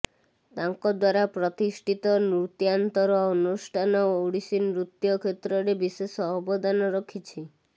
ତାଙ୍କ ଦ୍ବାରା ପ୍ରତିଷ୍ଠିତ ନୃତ୍ୟାନ୍ତର ଅନୁଷ୍ଠାନ ଓଡିଶୀ ନୃତ୍ୟ କ୍ଷେତ୍ରରେ ବିଶେଷ ଅବଦାନ ରଖିଛି